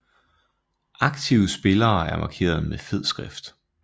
Aktive spillere er markeret med fed skrift